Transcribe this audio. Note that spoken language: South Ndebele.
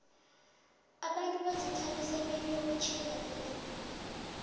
abantu bazithabisa beliyokutkhimga ilanaga